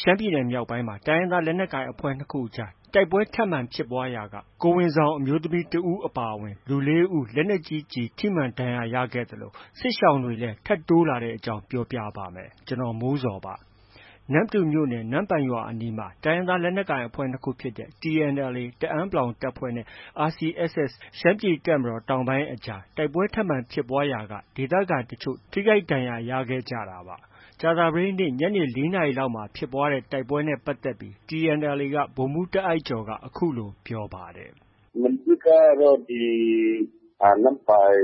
ရှမ်းပြည်နယ်မြောက်ပိုင်းမှာ တိုင်းရင်းသား လက်နက်ကိုင်အဖွဲ့ ၂ ခုကြား တိုက်ပွဲထပ်မံဖြစ်ပွားရာက ကိုယ်ဝန်ဆောင် အမျိုးသမီး ၁ ဦး အပါအဝင် လူ ၄ ဦး လက်နက်ကြီးကျည် ထိမှန်ဒဏ်ရာရခဲ့သလို စစ်ရှောင်တွေလည်း ထပ်တိုးလာတဲ့အကြောင်း ပြောပြပါမယ်။ ဗွီအိုအေမြန်မာပိုင်း သတင်းထောက် ကိုမိုးဇော်က သတင်းပေးပို့ထားပါတယ်။ နမ္မတူမြို့နယ် နမ့်ပိုင်ရွာအနီး တိုင်းရင်းသား လက်နက်ကိုင်အဖွဲ့ ၂ ခုဖြစ်တဲ့ TNLA တအန်း တပ်ဖွဲ့နဲ့ RCSS ရှမ်းပြည်တပ်မတော်တောင်ပိုင်းအကြား တိုက်ပွဲထပ်မံဖြစ်ပွားရာက ဒေသခံတချို့ ထိခိုက်ဒဏ်ရာတွေ ရခဲ့ကြတာပါ။ ကြာသပတေးနေ့ ညနေ ၄ နာရီလောက်မှာ ဖြစ်ပွားခဲ့တဲ့ တိုက်ပွဲနဲ့ ပတ်သက်ပြီး TNLA ဗိုလ်မှူးတာ့အိုက်ကျော်က အခုလို ပြောပါတယ်။ “မနေ့ကတော့ ဒီ နမ့်ပိုင်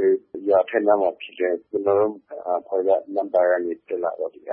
ရွာအထက်နားမှာဖြစ်တယ်။ ကျနော်တို့ အဖွဲ့က နမ့်ပိုင်ကနေတက်လာတော့ RC က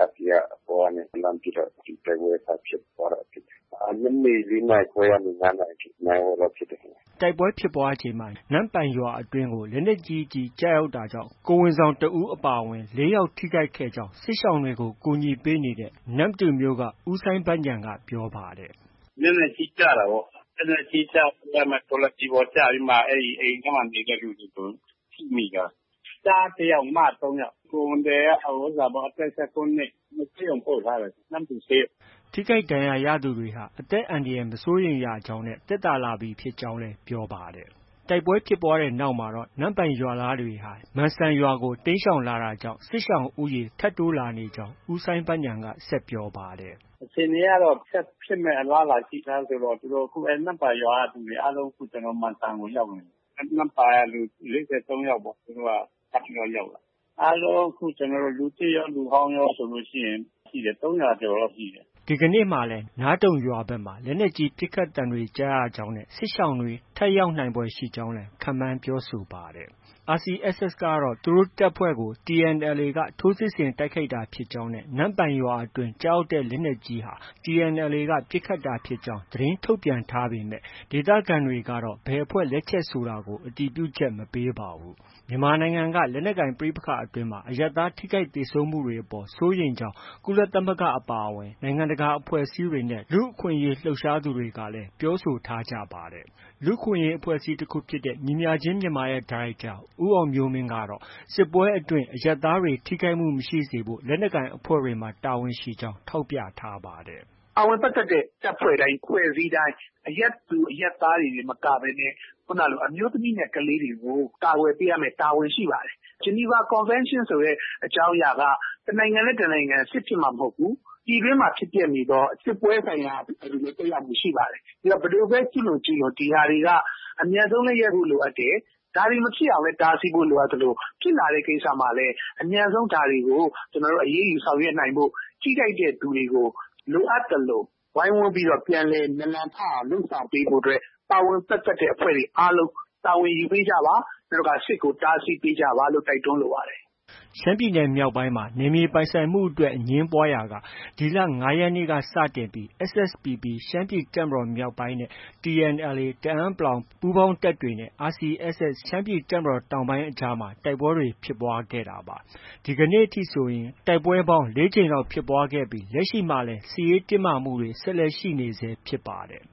အပေါ်ကနေ လှမ်းပစ်တော့ တိုက်ပွဲစဖြစ်တယ်။ ညနေ ၄ နာရီခွဲကနေ ၅ နာရီထိ နာရီဝက်လောက်ဖြစ်တယ်ဗျ။” တိုက်ပွဲဖြစ်ပွားချိန်မှာ နမ့်ပိုင်ရွာအတွင်းကို လက်နက်ကြီးကျည်ကျရောက်တာကြောင့် ကိုယ်ဝန်ဆောင်တစ်ဦးအပါအဝင် ၄ ယောက် ထိခိုက်ခဲ့ကြောင်း စစ်ရှောင်တွေကို ကူညီပေးနေတဲ့ နမ္မတူမြို့က ဦးစိုင်းဘဉာဏ်က ပြောပါတယ်။ “လက်နက်ကြီးကျတာပေါ့။ လက်နက်ကြီးကျပြီးမှ ထော်လာဂျီပေါ်ကျပြီးမှာ အိမ်ထဲမှာနေတဲ့လူတွေ အကုန်လုံး ထိမိတာ။ ကျားတစ်ယောက်၊ မ သုံးယောက်။ ကိုယ်ဝန်သည်က အသက် ၁၉ နှစ်။ ဆေးရုံပို့ထားတယ်။ နမ္မတူဆေးရုံ။” ထိခိုက်ဒဏ်ရာရသူတွေဟာ အသက်အန္တရာယ် မစိုးရိမ်ရကြောင်းနဲ့ သက်သာလာပြီဖြစ်ကြောင်းလည်း ပြောပါတယ်။ တိုက်ပွဲဖြစ်ပွားပြီးနောက်မှ နမ့်ပိုင်ရွာသားတွေဟာ မန်စံရွာကို တိမ်းရှောင်လာတာကြောင့် စစ်ရှောင်ဦးရေ ထပ်တိုးလာနေကြောင်း ဦးစိုင်းဘဉာဏ်က ဆက်ပြောပါတယ်။ “အခြေအနေကတော့ ဆက်ဖြစ်မယ့် အလားအလာရှိတာဆိုတော့ သူတို့ နမ့်ပိုင်ရွာက လူတွေအားလုံး ကျနော်တို့ မန်စံကို ရောက်နေပြီ။ နမ့်ပိုင်က လူ ၄၃ ယောက်ပေါ့။ သူတို့ ထပ်ပြီးရောက်လာတာ။ အားလုံး အခု လူသစ်ရော၊ လူဟောင်းရောဆိုရင် ၃၀၀ ကျော်လောက်ရှိတယ်။” ဒီကနေ့လည်း နားတုံရွာဘက်မှာ လက်နက်ကြီး ပစ်ခတ်သံတွေကြားရကြောင်းနဲ့ စစ်ရှောင်တွေ ထပ်ရောက်နိုင်ဖွယ်ရှိကြောင်းလည်း ခန့်မှန်းပြောဆိုပါတယ်။ RCSS ကတော့ သူတို့တပ်ဖွဲ့ကို TNLA က ထိုးစစ်ဆင် တိုက်ခိုက်တာဖြစ်ကြောင်း၊ နမ့်ပိုင်ရွာအတွင်း ကျရောက်တဲ့လက်နက်ကြီးဟာ TNLA က ပစ်ခတ်တာဖြစ်ကြောင်း သတင်းထုတ်ပြန်ထားပေမဲ့ ဒေသခံတွေကတော့ ဘယ်အဖွဲ့ လက်ချက်ဆိုတာကို အတည်ပြုချက် မပေးပါဘူး။ မြန်မာနိုင်ငံက လက်နက်ကိုင် ပဋိပက္ခတွေအတွင်း အရပ်သားထိခိုက်သေဆုံးမှုတွေအပေါ် စိုးရိမ်ကြောင်း ကုလသမဂ္ဂ အပါအဝင် နိုင်ငံတကာ အဖွဲ့အစည်းတွေနဲ့ လူ့အခွင့်အရေးလှုပ်ရှားသူတွေကလည်း ပြောဆိုထားကြပါတယ်။ လူ့အခွင့်အရေးအဖွဲ့အစည်း တစ်ခုဖြစ်တဲ့ ညီမျှခြင်းမြန်မာရဲ့ ဒါရိုက်တာ ဦးအောင်မျိုးမင်းကတော့ စစ်ပွဲအတွင်းမှာ အရပ်သားတွေကို ထိခိုက်မှုမရှိစေဖို့ လက်နက်ကိုင်အဖွဲ့တွေမှာ တာဝန်ရှိကြောင်း ထောက်ပြထားပါတယ်။ “ပါဝင်ပတ်သက်တဲ့ တပ်ဖွဲ့တိုင်း၊အဖွဲ့အစည်းတိုင်း အရပ်သူ၊ အရပ်သားတွေတင်မကဘဲနဲ့ ခုဏကလို အမျိုးသမီးနဲ့ ကလေးတွေကို ကာကွယ်ပေးရမယ့် တာဝန်ရှိပါတယ်။ ဂျနီဗာကွန်ဗင်းရှင်းဆိုတဲ့အကြောင်းအရာက တစ်နိုင်ငံနဲ့ တစ်နိုင်ငံ စစ်ဖြစ်မှ မဟုတ်ဘူး။ ပြည်တွင်းမှာဖြစ်ပျက်နေတဲ့ စစ်ပွဲဆိုင်ရာတွေမှာလည်း သက်ရောက်မှုရှိပါတယ်။ ဘယ်သူပဲ ကျူးလွန်ကျူးလွန် ဒီဟာတွေက အမြန်ဆုံးလည်း ရပ်ဖို့ လိုအပ်တယ်။ ဒါတွေမဖြစ်အောင်လည်း တားဖို့ လိုအပ်သလို ဖြစ်လာတဲ့ ကိစ္စမှာလည်း အမြန်ဆုံး အရေးယူဆောင်ရွက်နိုင်ဖို့။ ထိခိုက်တဲ့သူတွေကို လိုအပ်သလို ဝိုင်းဝန်းပြီးတော့ ပြန်လည်နာလံထအောင်လုပ်ဆောင်ပေးဖို့အတွက် ပါဝင်ပတ်သက်တဲ့ အဖွဲ့တွေအားလုံး တာဝန်ယူပေးကြပါ။ နောက် စစ်ကို တားဆီးပေးကြပါလို့ တိုက်တွန်းလိုပါတယ်။” ရှမ်းပြည်နယ်မြောက်ပိုင်းမှာ နယ်မြေပိုင်ဆိုင်မှုအတွက် အငြင်းပွားရာက ဒီလ ၅ ရက်နေ့က စတင်ပြီး SSPP ရှမ်းပြည်တပ်မတော်မြောက်ပိုင်းနဲ့ TNLA တအန်း ပူးပေါင်းတပ်တွေနဲ့ RCSS ရှမ်းပြည်တပ်မတော်တောင်ပိုင်းအကြား တိုက်ပွဲတွေ ဖြစ်ပွားခဲ့တာပါ။ ဒီကနေ့အထိဆိုရင် တိုက်ပွဲပေါင်း ၄ ကြိမ်လောက်ဖြစ်ပွားခဲ့ပြီး လက်ရှိမှာလည်း စစ်ရေးတင်းမာမှုတွေ ဆက်ရှိနေဆဲဖြစ်ပါတယ်